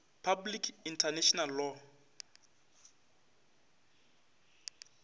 public international law